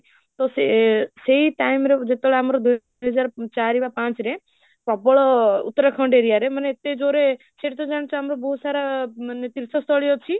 ତ ସେ ସେଇ time ରେ ଯେତେବେଳେ ଆମର ଦୁଇହଜାର ଚାରି ବା ପାଞ୍ଚରେ ପ୍ରବଳ ଉତ୍ତରାଖଣ୍ଡ area ରେ ମାନେ ଏତେ ଜୋର ରେ ସେଇଠି ତ ଜାଣିଛ ଆମର ବହୁତ ସାରା ମାନେ ତୀର୍ଥସ୍ଥଳୀ ଅଛି